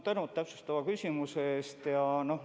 Tänu täpsustava küsimuse eest!